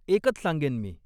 एकच सांगेन मी.